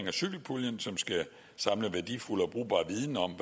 af cykelpuljen som skal samle værdifuld og brugbar viden om